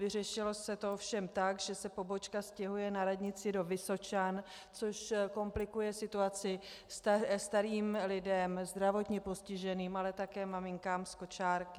Vyřešilo se to ovšem tak, že se pobočka stěhuje na radnici do Vysočan, což komplikuje situaci starým lidem, zdravotně postiženým, ale také maminkám s kočárky.